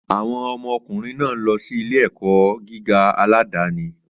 Àwọn ọmọ ọkùnrin náà ń lọ sí ilé-ẹ̀kọ́ gíga aládàáni.